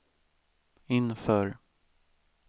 inför